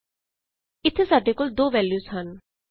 ਅਤੇ ਇਥੇ ਸਾਡੇ ਕੋਲ 2 ਵੈਲਯੂਜ਼ ਹਨ